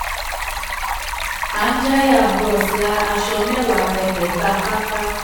anjaya bros ra aṣọ mẹ́wàá ẹgbẹ̀ta pátá.